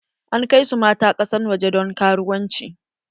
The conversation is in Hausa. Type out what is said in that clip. An kai su matan ƙasar waje don karuwanci.